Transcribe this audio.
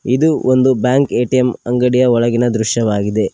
ಇದು ಒಂದು bank ATM ಅಂಗಡಿಯ ಒಳಗಿನ ದೃಶ್ಯವಾಗಿದೆ.